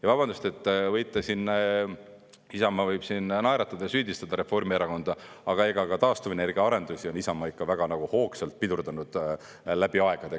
Ja vabandust, võite siin, Isamaa võib siin naeratada ja süüdistada Reformierakonda, aga ega ka taastuvenergia arendusi on Isamaa ikka väga hoogsalt pidurdanud läbi aegade.